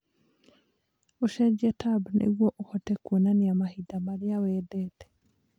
ũcenjie tab nĩguo ũhote kuonania mahinda marĩa wendete